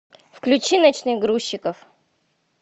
включи ночных грузчиков